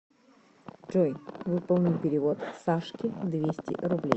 джой выполни перевод сашке двести рублей